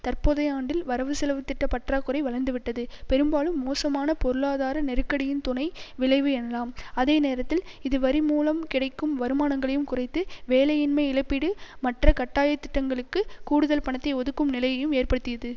தற்போதைய ஆண்டில் வரவுசெலவு திட்ட பற்றாக்குறை வளர்ந்துவிட்டது பெரும்பாலும் மோசமான பொருளாதார நெருக்கடியின் துணை விளைவு எனலாம் அதே நேரத்தில் இது வரி மூலம் கிடைக்கும் வருமானங்களையும் குறைத்து வேலையின்மை இழப்பீடு மற்ற கட்டாய திட்டங்களுக்கு கூடுதல் பணத்தை ஒதுக்கும் நிலையையும் ஏற்படுத்தியது